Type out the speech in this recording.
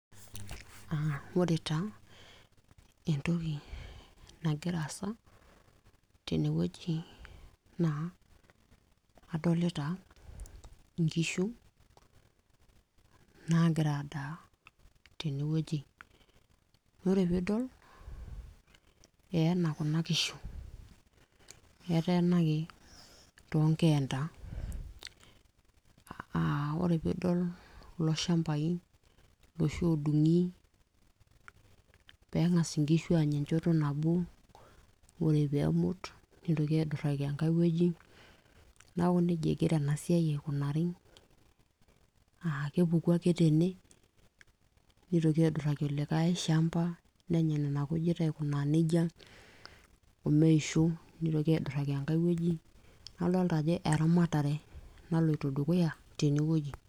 uh, ore taa entoki nagira aasa tenewueji naa adolita inkishu naagira adaa tenewueji, ore piidol eyena kuna kishu eteenaki tonkeenta uh, ore piidol kulo shambai iloshi odung'i peeng'as inkishu anya enchoto nabo ore peemut nitoki aidurraki enkae wueji naku nejia egira ena siai aikunari uh, kepuku ake tene nitoki aidurraki olikae shamba nenya nena kujit aikunaa nejia omeishu nitoki aidurraki enkae wueji nadolta ajo eramatare naloito dukuya tenewueji.